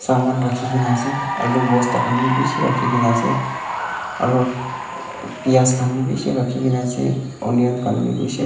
rakhikena ase alu bosta khan bhi beshi rakhikena ase aro uh pyas bhi beshi rakhikena ase onion khan bhi beshi.